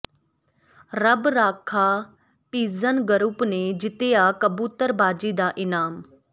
ਰੱਬ Rakha pigeon group ਨੇ ਜਿੱਤਿਆ ਕਬੂਤਰਬਾਜ਼ੀ ਦਾ ਇਨਾਮ